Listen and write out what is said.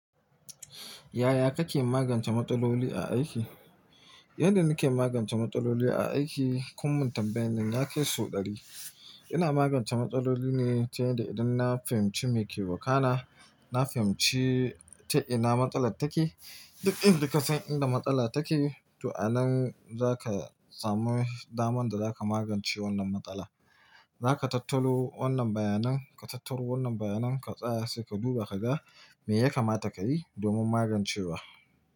Yaya kake magance matsaloli a aiki? Yadda nike magance matsaloli a aiki, kun mun tambayanin ya kai so ɗari. Ina magance matsaloli ne ta yadda idan na fahimci me ke wakana, na fahimci ta ina matsalar take. Duk inda ka san inda matsala take, to anan zaka samu daman da zaka magance wannan matsala. Zaka tattaro wannan bayanan, ka tattaro wannan bayanan ka tsaya sai ka duba ka ga me ya kamata kayi domin magancewa.